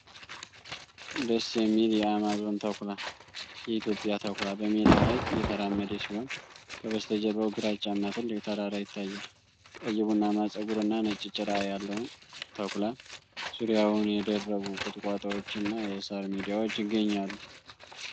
ደስ የሚል የ አማዞን ተኩላ (የኢትዮጵያ ተኩላ) በሜዳ ላይ እየተራመደ ሲሆን፣ ከበስተጀርባው ግራጫማ ትልቅ ተራራ ይታያል። ቀይ ቡናማ ፀጉርና ነጭ ጭራ ያለውን ተኩላ ዙሪያውን የደረቁ ቁጥቋጦዎችና የሣር ሜዳዎች ይገኛሉ።